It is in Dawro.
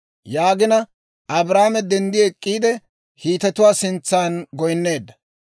Yaagina Abrahaame denddi ek'k'iide, Hiitetuwaa sintsan goynneedda.